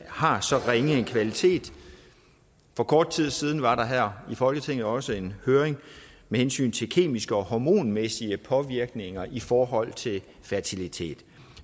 har så ringe en kvalitet for kort tid siden var der her i folketinget også en høring med hensyn til kemiske og hormonmæssige påvirkninger i forhold til fertilitet